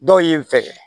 Dɔw ye n fɛ